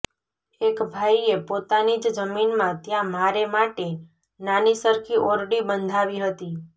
એક ભાઈએ પોતાની જ જમીનમાં ત્યાં મારે માટે નાની સરખી ઓરડી બંધાવી હતી